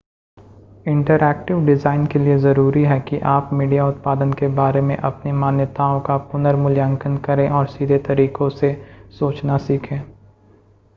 interactive design के लिए ज़रूरी है कि आप मीडिया उत्पादन के बारे में अपनी मान्यताओं का पुनर्मूल्यांकन करें और सीधे तरीकों से सोचना सीखें